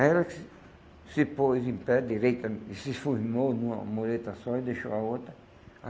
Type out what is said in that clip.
Aí ela se se pôs em pé direita e se numa mureta só e deixou a outra.